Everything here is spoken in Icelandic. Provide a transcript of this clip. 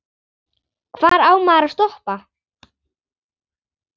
Hvar á maður að stoppa?